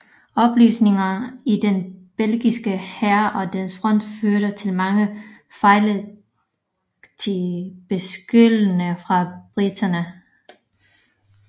Opløsningen i den belgiske hær og dens front førte til mange fejlagtige beskyldninger fra briterne